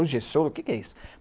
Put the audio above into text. projeciol o que é isso?